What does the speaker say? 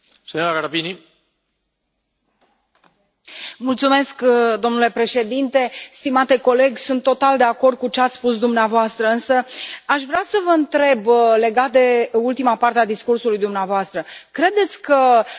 Stimate coleg, sunt total de acord cu ce ați spus dumneavoastră, însă aș vrea să vă întreb legat de ultima parte a discursului dumneavoastră credeți că prea multe reguli și mă refer acum la propunerea făcută de domnul